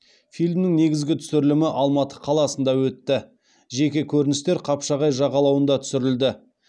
фильмнің негізгі түсірілімі алматы қаласында өтті жеке көріністер қапшағай жағалауында түсірілді